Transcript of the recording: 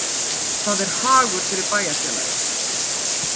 Það er hagur fyrir bæjarfélagið